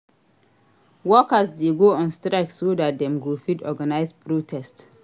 Workers de go on strike so that dem go fit organise protest